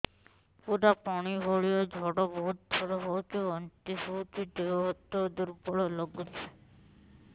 ପୁରା ପାଣି ଭଳିଆ ଝାଡା ବହୁତ ଥର ହଉଛି ବାନ୍ତି ହଉଚି ଦେହ ହାତ ଦୁର୍ବଳ ଲାଗୁଚି